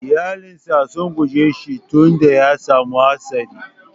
Iƴalan sa sun guje shi tun da ya samu hatsari.